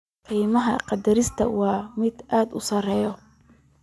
Qiimaha qodista waa mid aad u sarreeya.